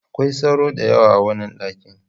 Akwai sauro da yawa a wannan dakin.